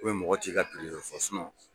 U bɛ mɔgɔ ci i ka dɔ fɔ